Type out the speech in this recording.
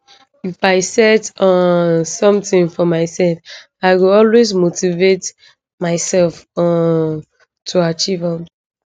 if i set um somtin for mysef i go always motivate myself um to achieve am